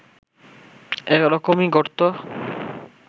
এরকমই ঘটতো